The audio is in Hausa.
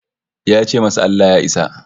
Ya ce masa Allah Ya isa